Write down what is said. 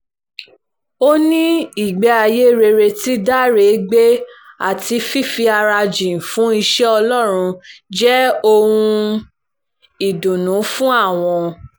ó ní ìgbé ayé rere tí dáre gbé àti fífi ara jìn fún iṣẹ́ ọlọ́run jẹ́ ohun ìdùnnú fún àwọn